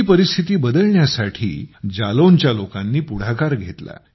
ही परिस्थिती बदलण्यासाठी जालौनच्या लोकांनी पुढाकार घेतला